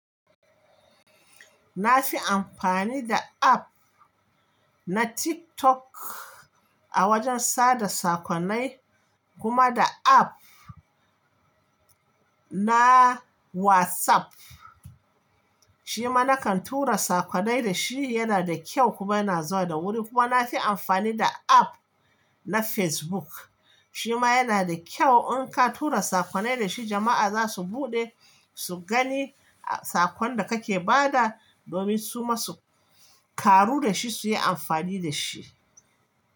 Na fi amfani da app na TikTok a wajen sada sakonnai, kuma da app na WhatsApp. Shima na kan tura sakkonai da shi, yana da kyau kuma yana zawa da wuri. Kuma na fi amfani da app na Facebook. Shima yana da kyau in ka tura sakkonai da shi, jama'a za su buɗe su gani sakon da kake ba da, domin su ma su karu da shi su yi amfani da shi.